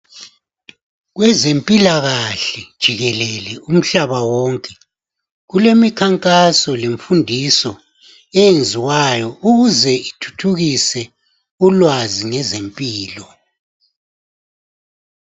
Kwezempilakahle jikelele umhlaba wonke kulemikhankaso lemfundiso eyenziwayo ukuze ithuthukise ulwazi ngezempilo.